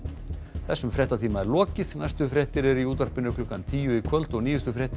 þessum fréttatíma er lokið næstu fréttir eru í útvarpi klukkan tíu í kvöld og nýjustu fréttir